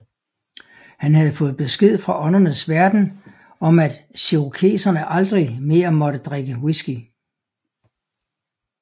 Han havde fået besked fra åndernes verden om at cherokeserne aldrig mere måtte drikke whisky